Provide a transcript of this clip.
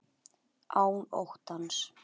Án óttans.